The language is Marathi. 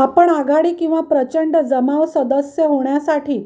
आपण आघाडी किंवा प्रचंड जमाव सदस्य होण्यासाठी